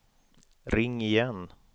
ring igen